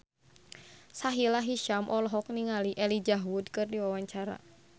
Sahila Hisyam olohok ningali Elijah Wood keur diwawancara